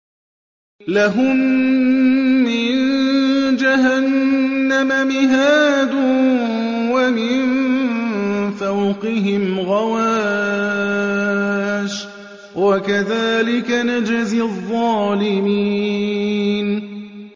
لَهُم مِّن جَهَنَّمَ مِهَادٌ وَمِن فَوْقِهِمْ غَوَاشٍ ۚ وَكَذَٰلِكَ نَجْزِي الظَّالِمِينَ